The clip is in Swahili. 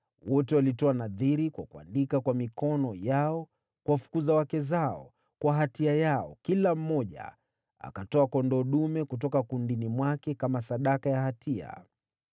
(Wote walitoa nadhiri kwa kuandika kwa mikono yao kuwafukuza wake zao, kwa hatia yao, kila mmoja akatoa kondoo dume kutoka kundini mwake kama sadaka ya hatia.)